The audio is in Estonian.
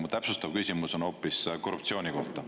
Mu täpsustav küsimus on hoopis korruptsiooni kohta.